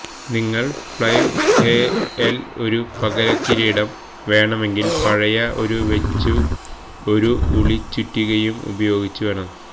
നിങ്ങൾ ഫ്ല്യ്വ്ഹെഎല് ഒരു പകരം കിരീടം വേണമെങ്കിൽ പഴയ ഒരു വെച്ചു ഒരു ഉളി ചുറ്റികയും ഉപയോഗിച്ച് വേണം